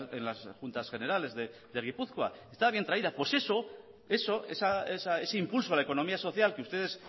en las juntas generales de gipuzkoa está bien traída pues eso eso ese impulso a la economía social que ustedes